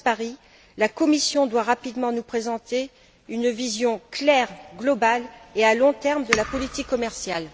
Caspary la Commission doit rapidement nous présenter une vision claire, globale et à long terme de la politique commerciale.